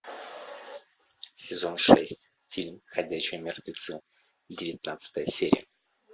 сезон шесть фильм ходячие мертвецы девятнадцатая серия